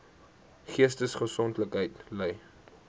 geestesongesteldheid ly